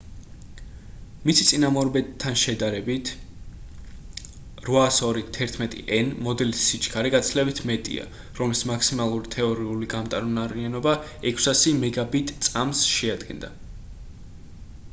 მისი წინამორბედთან შედარებით 802.11n მოდელის სიჩქარე გაცილებით მეტია რომელის მაქსიმალური თეორიული გამტარუნარიანობა 600 მბიტ/წმ შეადგენდა